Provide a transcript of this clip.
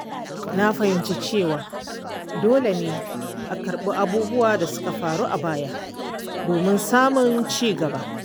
Na fahimci cewa dole ne a karɓi abubuwan da suka faru a baya domin samun ci gaba.